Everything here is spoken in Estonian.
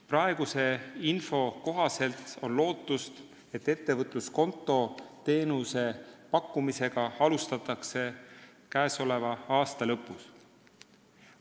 Praeguse info kohaselt on lootust, et ettevõtluskonto teenuse pakkumisega alustatakse käesoleva aasta lõpus.